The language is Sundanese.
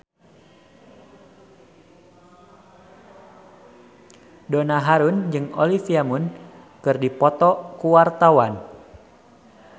Donna Harun jeung Olivia Munn keur dipoto ku wartawan